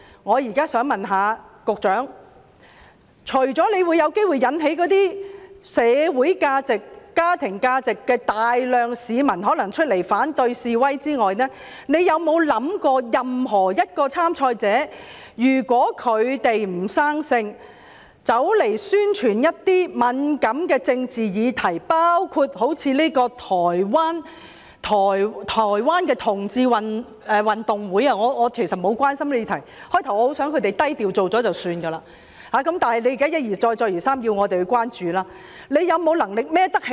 我現在想問局長，除了在社會價值和家庭價值方面有機會引起大量市民出來反對示威外，局長有否想過任何一位參賽者如果屆時"不生性"，宣傳一些敏感的政治議題，包括好像這個台灣的同志運動會——其實我不太關心這個議題，最初我希望他們低調舉辦就算，但現時一而再，再而三地要我們關注——局長有沒有能力負責呢？